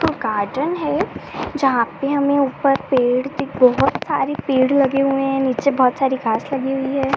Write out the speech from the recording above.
वो गार्डन है। जहाँ पे हमे ऊपर पेड़ की बहोत सारे पेड़ लगे हुए है। नीचे बहोत सारी घास हुई लगी है।